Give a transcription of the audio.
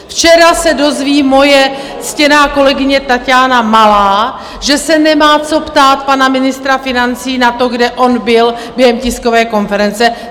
Včera se dozví moje ctěná kolegyně Taťána Malá, že se nemá co ptát pana ministra financí na to, kde on byl během tiskové konference.